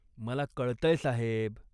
मला कळतंय साहेब.